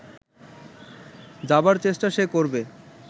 যাবার চেষ্টা সে করবে